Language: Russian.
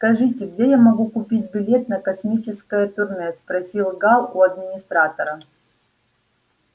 скажите где я могу купить билет на космическое турне спросил гаал у администратора